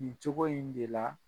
Nin cogo in de la